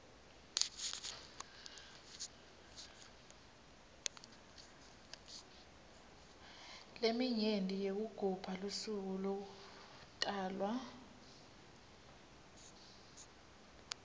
leminye yekugubha lusuku lekutalwa